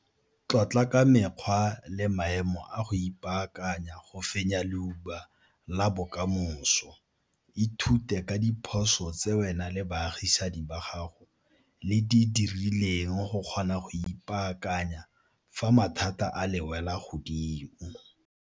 Tlotla ka mekgwa le maemo a go ipaakanya go fenya leuba la bokamoso. Ithute ka diphoso tse wena le baagisani ba gago le di dirileng go kgona go ipaakanya fa mathata a le wela godimo.